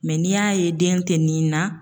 n'i y'a ye den tɛ nin na